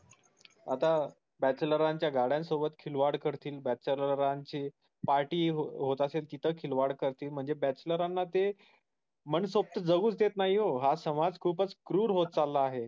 party होत असेल तिथ खिल वाड करतील म्हणजे ते bachelor मन्सोक्त जगूच देत नाहीओ. हा समाज खूप कृर होत चाला आहे ओ